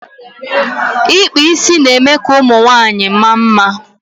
ikpa isi na eme ka ụmụ nwanyịwaanyị maa mma